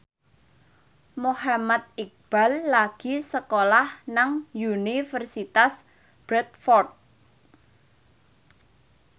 Muhammad Iqbal lagi sekolah nang Universitas Bradford